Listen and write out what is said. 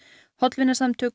hollvinasamtök